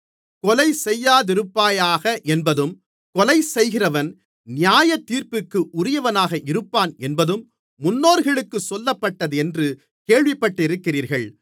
கொலை செய்யாதிருப்பாயாக என்பதும் கொலைசெய்கிறவன் நியாயத்தீர்ப்பிற்கு உரியவனாக இருப்பான் என்பதும் முன்னோர்களுக்குச் சொல்லப்பட்டதென்று கேள்விப்பட்டிருக்கிறீர்கள்